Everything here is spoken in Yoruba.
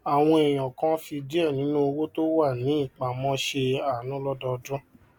àwọn èèyàn kan fi diẹ ninu owó tó wà ní ìpamó se aanu lọdọọdun